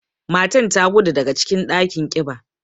Matan ta gudu daga cikin ɗakin kiba.